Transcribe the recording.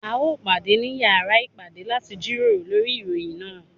A ó pàdé ní yàrá ìpàdé láti jíròrò lórí ìròyìn náà.